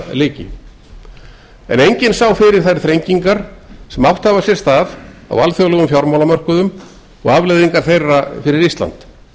lyki en enginn sá fyrir þær þrengingar sem átt hafa sér stað á alþjóðlegum fjármálamörkuðum og afleiðingar þeirra fyrir ísland